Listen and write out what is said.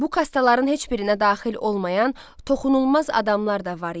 Bu kastaların heç birinə daxil olmayan toxunulmaz adamlar da var idi.